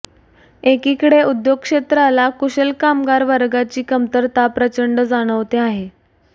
एकीकडे उद्योग क्षेत्राला कुशल कामगार वर्गाची कमतरता प्रचंड जाणवते आहे